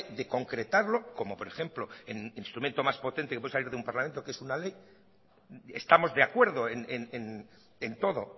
de concretarlo como por ejemplo el instrumento más potente que puede salir de un parlamento que es una ley estamos de acuerdo en todo